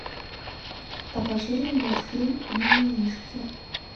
покажи мне мультфильм мимимишки